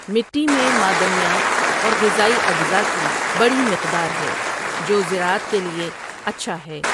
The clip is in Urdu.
مٹی میں معدنیات اور غذائی اجزاء کی بڑی مقدار ہے، جو زراعت کے لیے اچھا ہے۔